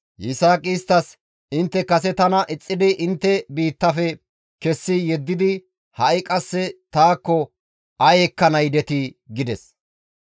Yisaaqi isttas, «Intte kase tana ixxidi intte biittafe kessi yeddidi ha7i qasse taakko ay ekkana yidetii?» gides.